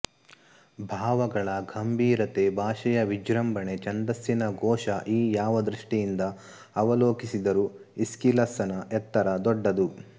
ಭಾವಗಳ ಗಂಭೀರತೆ ಭಾಷೆಯ ವಿಜೃಂಭಣೆ ಛಂದಸ್ಸಿನ ಘೋಷಈ ಯಾವ ದೃಷ್ಟಿಯಿಂದ ಅವಲೋಕಿಸಿದರೂ ಈಸ್ಕಿಲಸ್ಸನ ಎತ್ತರ ದೊಡ್ಡದು